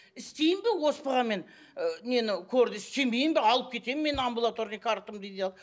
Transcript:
істеймін бе оспаға мен ы нені корьді істемеймін бе алып кетемін мен амбулаторный картамды дейді ал